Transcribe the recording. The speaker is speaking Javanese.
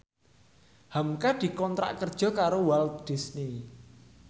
hamka dikontrak kerja karo Walt Disney